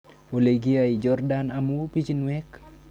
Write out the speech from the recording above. Ole kiyai Jordan amu pichinwek